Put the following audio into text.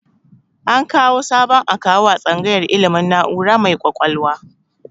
An kawu sabon akawu a tsangayar ilmin na'ura mai kwakwalwa